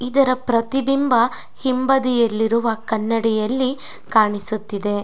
ಇದರ ಪ್ರತಿಬಿಂಬ ಹಿಂಬದಿಯಲ್ಲಿರುವ ಕನ್ನಡಿಯಲ್ಲಿ ಕಾಣಿಸುತಿದೆ.